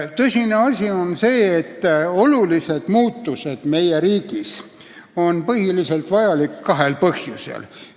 Tõsine asi on see, et olulised muutused meie riigis on vajalikud peamiselt kahel põhjusel.